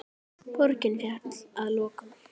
Borgin féll að lokum.